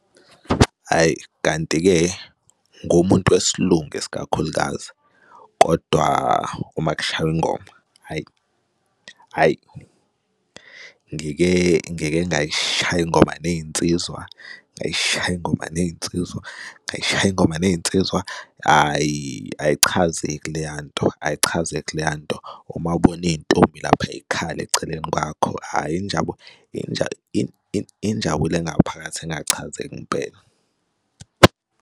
Hhayi, kanti-ke ngumuntu wesiLungu isikakhulukazi, kodwa uma kushawa ingoma, hhayi, hhayi. ngike, ngeke ngayishaya ingoma ney'nsizwa, ngayishayi ingoma ney'nsizwa, ngayishayi ingoma neyinsizwa, ayi, ayichazeki leya nto, ayichazeki leya nto. Uma ubona iy'ntombi lapha y'khala eceleni kwakho, hhayi injabulo engaphakathi engachazeki ingempela.